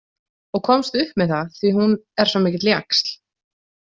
Og komst upp með það því að hún er svo mikill jaxl.